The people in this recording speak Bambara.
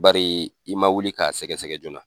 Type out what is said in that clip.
Bari i man wuli k'a sɛgɛ sɛgɛ joona.